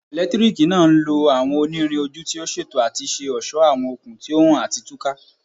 Eletiriki naa nlo awọn onirin oju ti o ṣeto ati ṣe ọṣọ awọn okun ti o han ati tuka